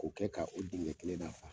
K'o kɛ ka u kelen na .